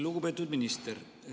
Lugupeetud minister!